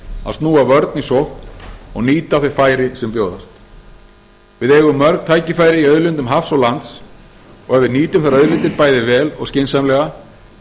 að snúa vörn í sókn og nýta þau færi sem bjóðast við eigum mörg tækifæri í auðlindum hafs og lands og ef við nýtum þær auðlindir bæði vel og skynsamlega